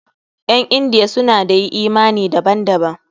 Ƴan Indiya suna da yi imani daban daban.